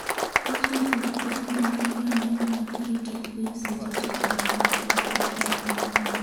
owacho ni od thieth no nigi rameny mag arita kwe(cctv) seche te to onge kata wach achiel manofweny